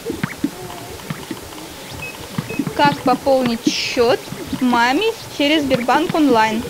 как пополнить счет маме через сбербанк онлайн